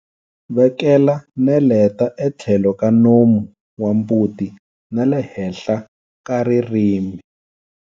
Vekela neleta etlhelo ka nomu wa mbuti na le henhla ka ririmi.